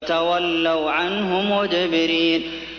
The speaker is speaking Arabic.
فَتَوَلَّوْا عَنْهُ مُدْبِرِينَ